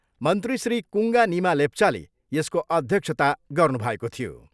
मन्त्री श्री कुङ्गा निमा लेप्चाले यसको अध्यक्षता गर्नुभएको थियो।